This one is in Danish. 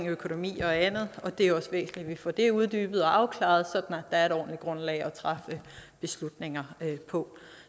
økonomi og andet og det er også væsentligt at vi får det uddybet og afklaret der er et ordentligt grundlag at træffe beslutninger på